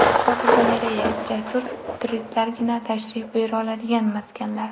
Fotogalereya: Jasur turistlargina tashrif buyura oladigan maskanlar.